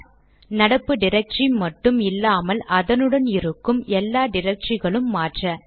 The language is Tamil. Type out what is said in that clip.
ஆர் நடப்பு டிரக்டரி மட்டும் இல்லாமல் அதனுள் இருக்கும் எல்லா டிரக்டரிகளும் மாற்ற